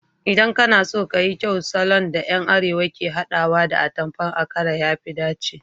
Idan kana so ka yi kyau, salon da yan arewa ke hadawa da atamfan akara ya fi dace